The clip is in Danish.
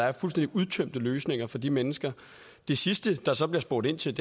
er fuldstændig udtømte løsninger for de mennesker det sidste der så bliver spurgt ind til